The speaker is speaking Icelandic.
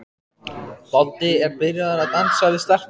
Doddi er byrjaður að dansa við stelpurnar.